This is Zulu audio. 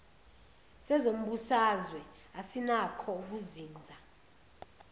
sezombusazwe asinakho ukuzinza